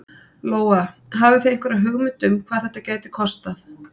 Lóa: Hafið þið einhverja hugmynd um hvað þetta gæti kostað?